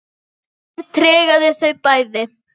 Reynir tregaði þau bæði.